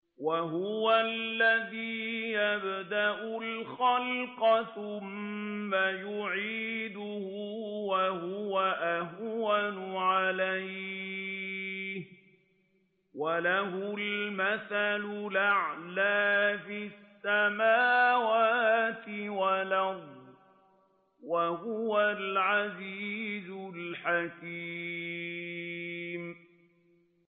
وَهُوَ الَّذِي يَبْدَأُ الْخَلْقَ ثُمَّ يُعِيدُهُ وَهُوَ أَهْوَنُ عَلَيْهِ ۚ وَلَهُ الْمَثَلُ الْأَعْلَىٰ فِي السَّمَاوَاتِ وَالْأَرْضِ ۚ وَهُوَ الْعَزِيزُ الْحَكِيمُ